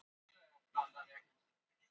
Talið er að málin tengist